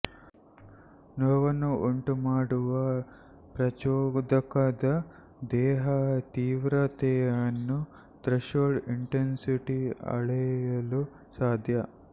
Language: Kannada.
ನೋವನ್ನು ಉಂಟುಮಾಡುವ ಪ್ರಚೋದಕದ ದೇಹ ತೀವ್ರತೆಯನ್ನು ಥ್ರೆಶೋಲ್ಡ್ ಇಂಟೆನ್ಸಿಟಿ ಅಳೆಯಲು ಸಾಧ್ಯ